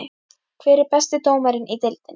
Hver er besti dómarinn í deildinni?